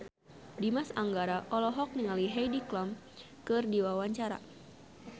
Dimas Anggara olohok ningali Heidi Klum keur diwawancara